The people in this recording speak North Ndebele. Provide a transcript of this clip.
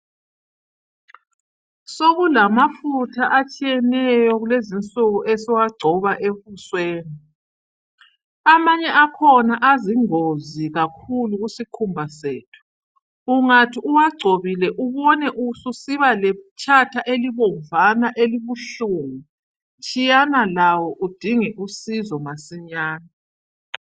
Sokulamafutha atshiyeneyo kulezinsuku esiwagcoba ebusweni. Amanye akhona azingozi kakhulu kusikhumba sethu. Ungathi uwagcobile ubone ususiba letshathana elibomvana elibuhlungu, tshiyana lawo udinge usizo masinyane.